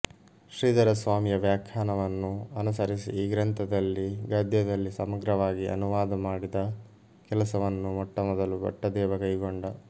ಶ್ರೀಧರಸ್ವಾಮಿಯ ವ್ಯಾಖ್ಯಾನವನ್ನು ಅನುಸರಿಸಿ ಈ ಗ್ರಂಥವನ್ನು ಗದ್ಯದಲ್ಲಿ ಸಮಗ್ರವಾಗಿ ಅನುವಾದ ಮಾಡಿದ ಕೆಲಸವನ್ನು ಮೊಟ್ಟಮೊದಲು ಭಟ್ಟದೇವ ಕೈಗೊಂಡ